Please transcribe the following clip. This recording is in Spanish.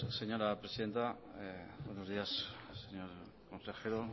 señora presidenta buenos días señor consejero